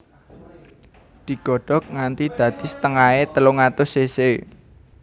Digodhog nganti dadi setengahé telung atus cc